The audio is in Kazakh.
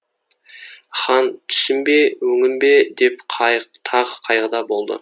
хан түсім бе өңім бе деп тағы қайғыда болады